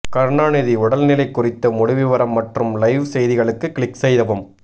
கருணாநிதி உடல்நிலை குறித்த முழு விவரம் மற்றும் லைவ் செய்திகளுக்கு கிளிக் செய்யவும்